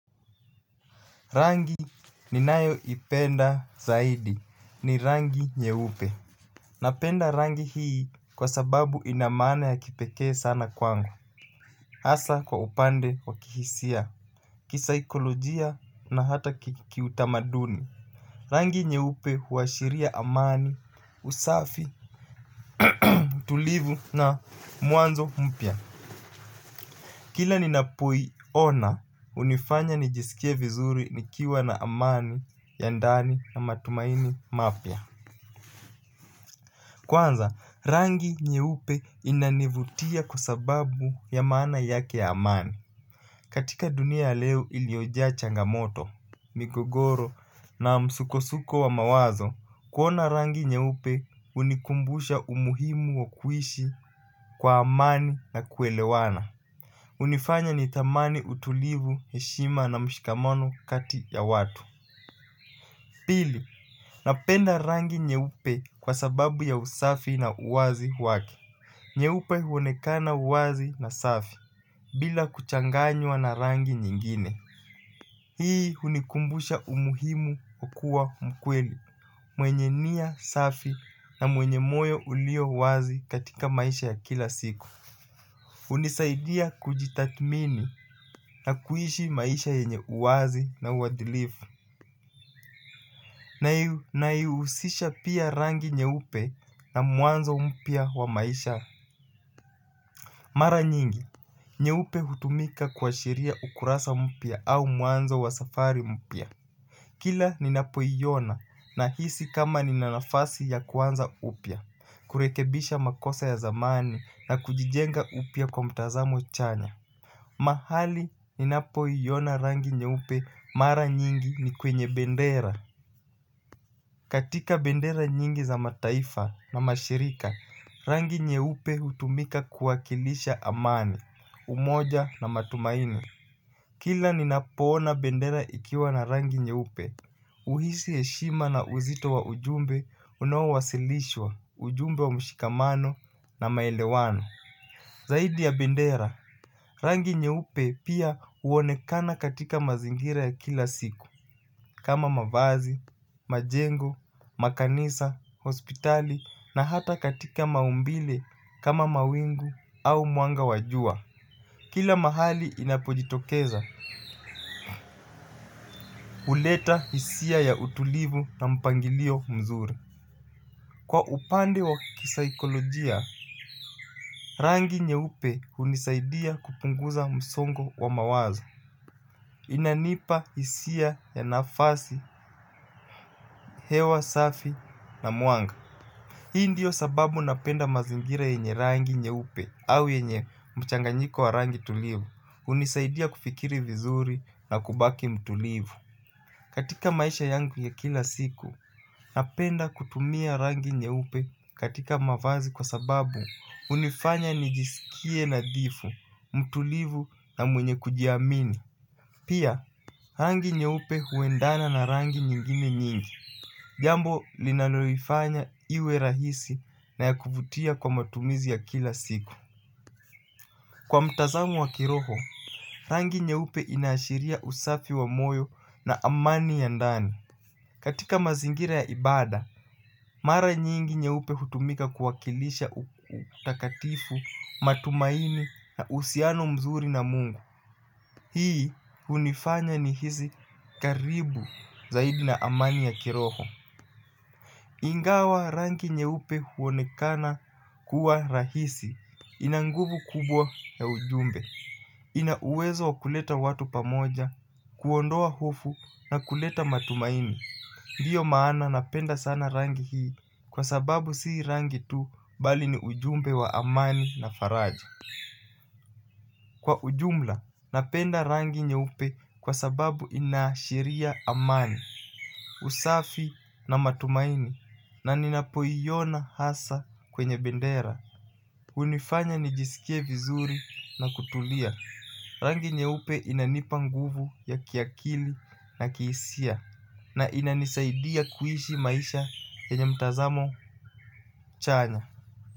Rangi ni nayo ipenda zaidi ni rangi nye upe. Napenda rangi hii kwa sababu inamana ya kipekee sana kwangu. Asa kwa upande wakihisia. Kisaikolojia na hata kiutamaduni. Rangi nye upe huashiria amani usafi. Tulivu na muanzo mpya. Kila ninapoi ona unifanya nijisikie vizuri nikiwa na amani ya ndani na matumaini mapia kwanza rangi nyeupe inanivutia kwa sababu ya maana yake ya amani katika dunia ya leo iliyojaa changamoto migogoro na msukosuko wa mawazo kuona rangi nyeupe hunikumbusha umuhimu wa kuishi kwa amani na kuelewana hunifanya nithamani utulivu heshima na mshikamano kati ya watu pili, napenda rangi nyeupe kwa sababu ya usafi na uwazi wake. Nyeupe huonekana uwazi na safi bila kuchanganywa na rangi nyingine. Hii unikumbusha umuhimu kukua mkweli mwenye niya safi na mwenye moyo ulio uwazi katika maisha ya kila siku. Unisaidia kujitatmini na kuishi maisha yenye uwazi na uwadilifu. Naiusisha pia rangi nye upe na muanzo mpia wa maisha. Mara nyingi, nye upe hutumika kwa shiria ukurasa mpia au muanzo wa safari mpia. Kila ninapoyiona na hisi kama ninanafasi ya kuanza upia kurekebisha makosa ya zamani na kujijenga upia kwa mtazamo chanya. Mahali ninapoi yona rangi nye upe mara nyingi ni kwenye bendera. Katika bendera nyingi za mataifa na mashirika, rangi nye upe utumika kuwakilisha amani, umoja na matumaini. Kila ninapona bendera ikiwa na rangi nye upe. Uhisi eshima na uzito wa ujumbe unawasilishwa ujumbe wa mshikamano na maelewano zaidi ya bendera rangi nye upe pia uonekana katika mazingira ya kila siku, kama mavazi, majengo, makanisa, hospitali na hata katika maumbile kama mawingu au muanga wajua. Kila mahali inapojitokeza, uleta isia ya utulivu na mpangilio mzuri. Kwa upande wa kisaikolojia rangi nyeupe hunisaidia kupunguza msongo wa mawazo. Inanipa isia ya nafasi, hewa, safi na muanga. Hii ndiyo sababu napenda mazingira yenye rangi nye upe au yenye mchanganyiko wa rangi tulivu. Unisaidia kufikiri vizuri na kubaki mtulivu. Katika maisha yangu ya kila siku, napenda kutumia rangi nye upe katika mavazi kwa sababu unifanya nijisikie nadhifu, mtulivu na mwenye kujiamini. Pia, rangi nye upe huendana na rangi nyingine nyingi. Jambo linanolifanya iwe rahisi na yakuvutia kwa matumizi ya kila siku. Kwa mtazamo wa kiroho, rangi nye upe inashiria usafi wa moyo na amani ya ndani. Katika mazingira ya ibada, mara nyingi nye upe hutumika kuwakilisha utakatifu matumaini na usiano mzuri na mungu. Hii unifanya ni hizi karibu zaidi na amani ya kiroho. Ingawa rangi nye upe huonekana kuwa rahisi inanguvu kubwa ya ujumbe. Ina uwezo wa kuleta watu pamoja, kuondoa hofu na kuleta matumaini. Ndiyo maana napenda sana rangi hii kwa sababu si rangi tu bali ni ujumbe wa amani na faraji. Kwa ujumla napenda rangi nye upe kwa sababu inashiria amani. Usafi na matumaini na ninapoyiona hasa kwenye bendera. Unifanya nijisikie vizuri na kutulia rangi nyeupe inanipa nguvu ya kiakili na kihisia. Na inanisaidia kuhishi maisha yenye mtazamo chanya.